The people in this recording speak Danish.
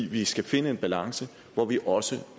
vi skal finde en balance hvor vi også